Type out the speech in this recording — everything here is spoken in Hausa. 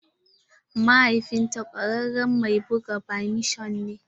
Mahaifin ta kwararen mai buga badminto ne